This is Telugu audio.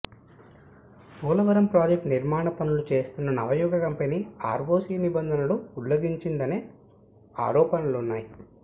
పోలవరం ప్రాజెక్టు నిర్మాణ పనులు చేస్తున్న నవయుగ కంపెనీ ఆర్వోసీ నిబంధనలు ఉల్లంఘించిందనే ఆరోపణలున్నాయి